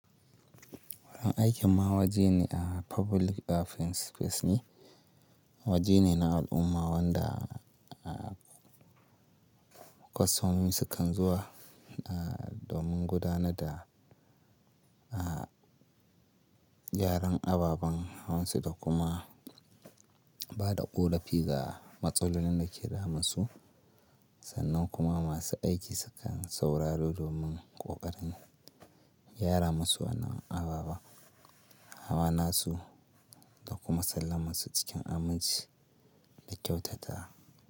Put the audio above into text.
Wurin aikin ma waje ne a public defense space ne, waje ne na al'umma wanda a kwastomomi su kan zuwa a domin gudanar da a yaren ababan hawan su da kuma ba da ƙorafi ga matsalolin da ke damun su. Sannan kuma masu aiki su kan sauraro domin ƙoƙarin gyara masu wannan ababan hawa nasu da kuma sallama su cikin aminci da kyautata.